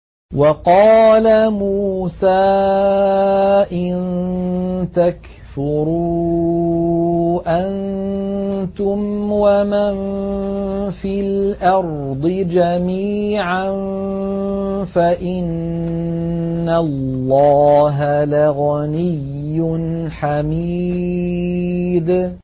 وَقَالَ مُوسَىٰ إِن تَكْفُرُوا أَنتُمْ وَمَن فِي الْأَرْضِ جَمِيعًا فَإِنَّ اللَّهَ لَغَنِيٌّ حَمِيدٌ